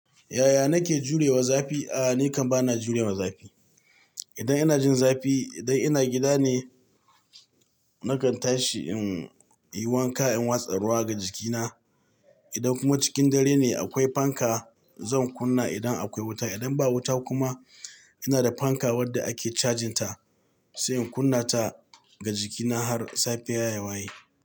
Yaya nake jurewa zafi? A'a, ni kam bana jurewa zafi. Idan ina jin zafi, idan ina gida ne nakan tashi in yi wanka in watsa ruwa ga jikina. Idan kuma cikin dare ne akwai fanka, zan kunna idan akwai wuta. Idan ba wuta kuma ina da fanka wadda ake cajinta sai in kunna ta ga jikina har safiya yawaye.